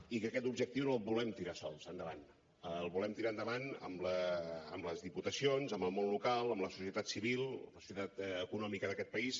i que aquest objectiu no el volem tirar sols endavant el volem tirar endavant amb les diputacions amb el món local amb la societat civil la societat econòmica d’aquest país